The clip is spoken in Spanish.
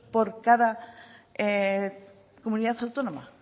por cada comunidad autónoma